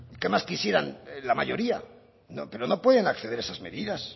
qué más quisieran la mayoría pero no pueden acceder a esas medidas